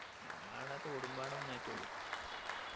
ഞങ്ങടവിട തോടും പാടോം ഒന്നായിട്ടുള്ളൂ